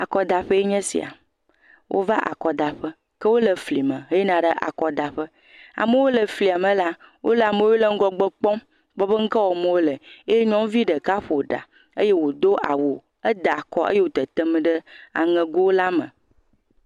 Akɔdaƒee nye esia. Wova akɔdaƒe, ke wole fli me heyina ɖe akɔdaƒe. Amewo le flia me la, wole ame yiwo le ŋgɔgbe kpɔm kpɔ be nu ka wɔm wole eye nyɔnuvi ɖeka ƒo ɖa. Eye wodo awu, eda akɔ eye wote tem ɖe aŋego la me.